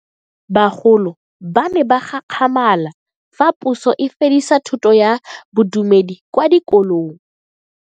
Bagolo ba ne ba gakgamala fa Puso e fedisa thuto ya Bodumedi kwa dikolong.